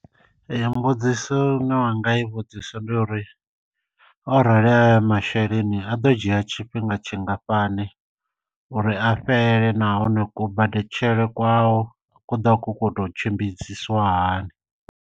Mbudziso ine wanga i vhudzisa ndi uri orali ayo masheleni a ḓo dzhia tshifhinga tshingafhani uri a fhele nahone kubadetshele kwao kuḓa ku kotou tshimbidziswa hani.